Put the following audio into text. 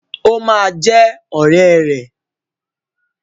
Ó ma jẹ́ ọ̀rẹ́ ẹ̀.